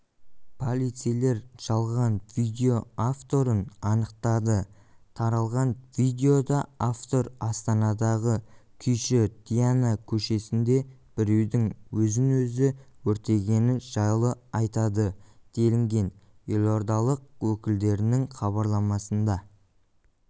полицейлер жалған видео авторын анықтады таралған видеода автор астанадағы күйші дина көшесінде біреудің өзін-өзі өртегені жайлы айтады делінген елордалық өкілдерінің хабарламасында